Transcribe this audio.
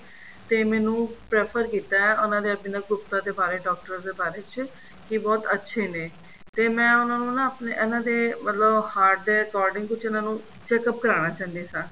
ਤੇ ਮੈਂਨੂੰ prefer ਕੀਤਾ ਉਹਨਾ ਦੇ ਅਭਿਨਵ ਗੁਪਤਾ ਦੇ ਬਾਰੇ ਡਾਕਟਰ ਦੇ ਬਾਰੇ ਚ ਕੀ ਬਹੁਤ ਅੱਛੇ ਨੇ ਤੇ ਮੈਂ ਉਹਨਾਂ ਨੂੰ ਨਾ ਆਪਣੇ ਇਹਨਾ ਦੇ ਮਤਲਬ heart ਦੇ according ਕੁੱਝ ਉਹਨਾ ਨੂੰ checkup ਕਰਾਣਾ ਚਾਹੰਦੀ ਸਾਂ